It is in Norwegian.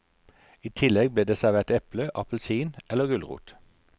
I tillegg ble det servert eple, appelsin eller gulrot.